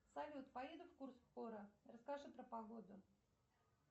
салют поеду в курск скоро расскажи про погоду